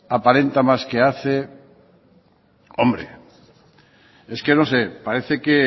aparenta más que hace hombre es que no sé parece que